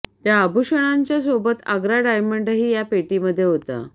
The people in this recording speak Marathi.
त्या आभूषणांच्या सोबत आग्रा डायमंडही या पेटीमध्ये होता